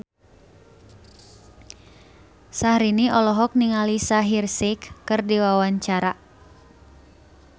Syahrini olohok ningali Shaheer Sheikh keur diwawancara